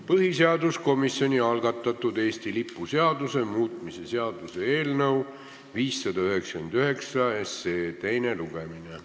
Põhiseaduskomisjoni algatatud Eesti lipu seaduse muutmise seaduse eelnõu 599 teine lugemine.